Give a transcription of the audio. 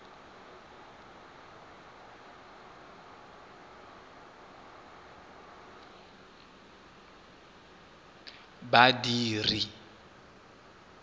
badiri